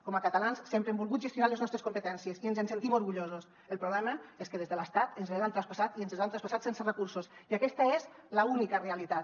com a catalans sempre hem volgut gestionar les nostres competències i ens en sentim orgullosos el problema és que des de l’estat ens les han traspassat i ens les han traspassat sense recursos i aquesta és l’única realitat